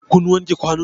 Kun wanke kwanun?